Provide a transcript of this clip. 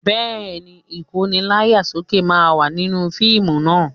Bẹ́ẹ̀ ni, Ìkóni láyà sókè máa wà nínú fíìmù naa